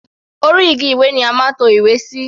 Orí igi ìwé ni a máa ń to ìwé sí.